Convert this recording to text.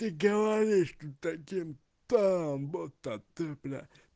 ты говоришь тут таким тоном будто ты блять